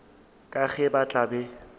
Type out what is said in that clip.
ka ge ba tla be